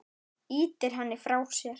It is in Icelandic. Ýtir henni frá sér.